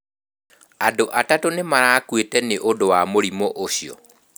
Andũ atatũ nĩ marakuĩte nĩ ũndũ wa mũrimũ ũcio.